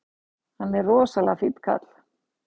Hann er rosalega fínn kall!